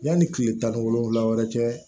Yanni kile tan ni wolonwula yɛrɛ cɛ